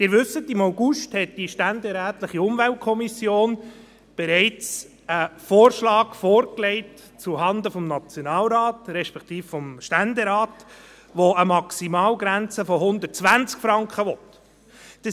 Sie wissen, dass die ständerätliche Umweltkommission bereits im August einen Vorschlag zuhanden des Nationalrates, respektive des Ständerates, vorgelegt hat, der eine Maximalgrenze von 120 Franken will.